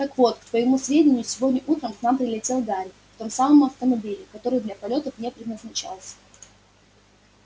так вот к твоему сведению сегодня утром к нам прилетел гарри в том самом автомобиле который для полётов не предназначался